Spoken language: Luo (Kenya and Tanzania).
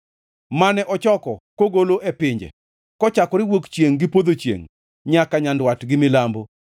mane ochoko kogolo e pinje, kochakore wuok chiengʼ gi podho chiengʼ, nyaka nyandwat gi milambo.